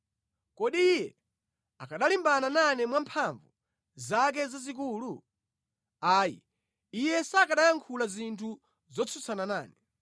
Kodi Iye akanalimbana nane mwa mphamvu zake zazikulu? Ayi, Iye sakanayankhula zinthu zotsutsana nane.